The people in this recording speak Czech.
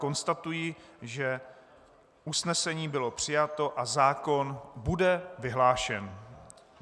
Konstatuji, že usnesení bylo přijato a zákon bude vyhlášen.